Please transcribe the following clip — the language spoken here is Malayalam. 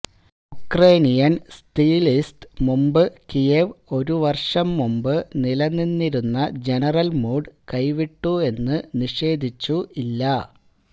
ഉക്രേനിയൻ സ്ത്യ്ലിസ്ത് മുമ്പ് കിയെവ് ഒരു വർഷം മുമ്പ് നിലനിന്നിരുന്ന ജനറൽ മൂഡ് കൈവിട്ടു എന്ന് നിഷേധിച്ചു ഇല്ല